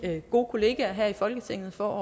gode kollegaer her i folketinget for